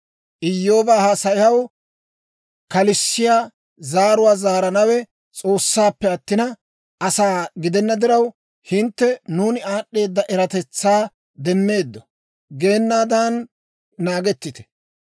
Iyyooba haasayaw kalissiyaa zaaruwaa zaaranawe S'oossaappe attina, asaa gidenna diraw, hintte, ‹Nuuni aad'd'eeda eratetsaa demmeeddo› geenaadan naagettite.